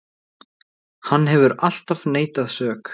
Hann hefur alltaf neitað sök